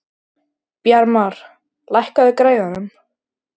Bjarmar, lækkaðu í græjunum.